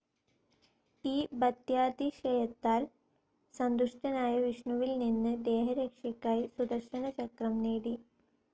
ഈ ഭക്ത്യാതിശയത്താൽ സന്തുഷ്ടനായ വിഷ്ണുവിൽനിന്ന് ദേഹരക്ഷയ്ക്കായി സുദര്ശനചക്ക്രം നേടി.